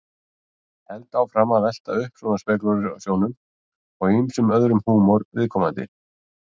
Held áfram að velta upp svona spekúlasjónum og ýmsum öðrum húmor viðkomandi.